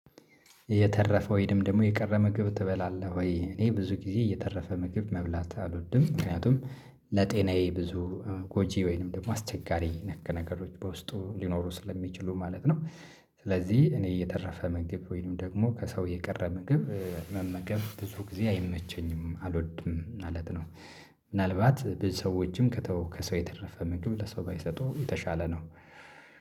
የተረፈው ወይናም ደግሞ የቀረ ምግብ ትበላለህ ወይ? እኔ ብዙ ጊዜ የተረፈ ምግብ መብላት አልወድም ምክንያቱም ለጤናዬ ብዙ ጎጂ ወይንም ደግሞ አስቸጋሪ ነገሮች በውስጡ ሊኖሩ ስለሚችሉ ማለት ነው። ስለዚህ እኔ የተረፈ ምግብ ወይንም ደግሞ ከሰው የቀረ ምግብ መመገብ ብዙ ጊዜ አይመቸኝም አልወድም ማለት ነው። ምናልባት ብዙ ሰዎችም ከተወው ከሰው የተረፈ ምንጩ ለሰው ባይሰጡ የተሻለ ነው።